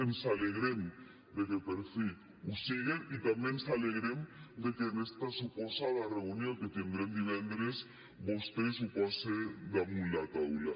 ens alegrem de que per fi ho siguen i també ens alegrem de que en esta suposada reunió que tindrem divendres vostè ho pose damunt la taula